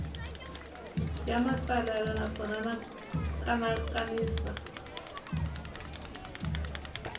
ya matsalelo naswona xa kanakanisa